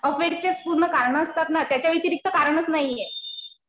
अफेयरचेच पूर्ण कारणं असतात ना. त्याच्या व्यतिरिक्त कारणच नाहीये.